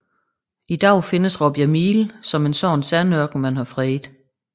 I dag findes Råbjerg Mile som en sådan sandørken man har fredet